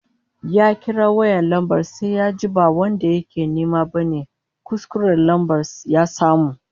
Ya kira lambar sai yajin ba wanda yake nema bane, kuskuren lambar ya samu